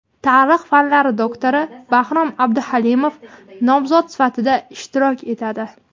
tarix fanlari doktori Bahrom Abduhalimov nomzod sifatida ishtirok etadi.